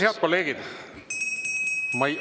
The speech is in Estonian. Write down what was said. Head kolleegid!